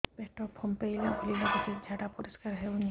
ପେଟ ଫମ୍ପେଇଲା ଭଳି ଲାଗୁଛି ଝାଡା ପରିସ୍କାର ହେଉନି